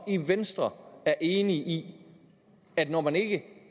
venstre er enig i at når man ikke